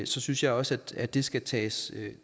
så synes jeg også at det skal tages